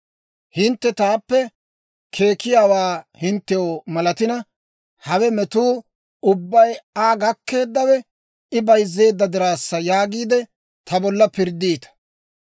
Hintte taappe keekkiyaawaa hinttew malatina, ‹Hawe metuu ubbay Aa gakkeeddawe, I bayzzeedda dirassa› yaagiide, ta bolla pirddiita.